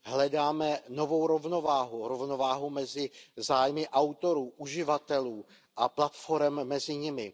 Hledáme novou rovnováhu, rovnováhu mezi zájmy autorů, uživatelů a platforem mezi nimi.